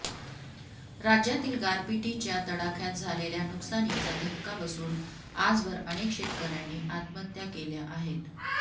राज्यातील गारपिटीच्या तडाख्यात झालेल्या नुकसानीचा धक्का बसून आजवर अनेक शेतकर्यांनी आत्महत्या केल्या आहेत